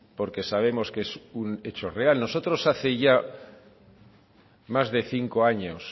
porque sabemos que es un hecho real nosotros hace ya